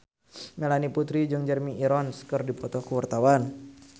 Melanie Putri jeung Jeremy Irons keur dipoto ku wartawan